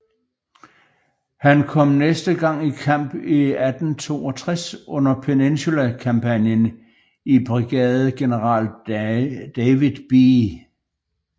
Han kom næste gang i kamp i 1862 under Peninsula kampagnen i brigadegeneral David B